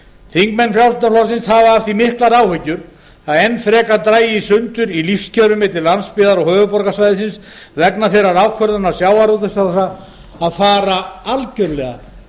þingmenn frjálslynda flokksins hafa af því miklar áhyggjur að enn frekar dragi í sundur í lífskjörum milli landsbyggðar og höfuðborgarsvæðisins vegna þeirrar ákvörðunar sjávarútvegsráðherra að fara algjörlega